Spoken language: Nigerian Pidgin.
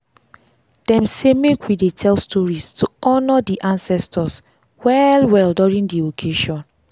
dem sey make we dey tell stories to honor dey ancestor well well during dey occasion.